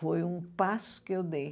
Foi um passo que eu dei.